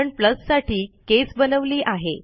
आपण प्लस साठी केस बनवली आहे